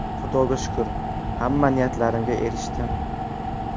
Xudoga shukr, hamma niyatlarimga erishdim.